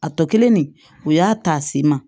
A tɔ kelen nin u y'a ta se ma